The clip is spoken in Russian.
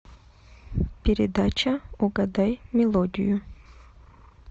передача угадай мелодию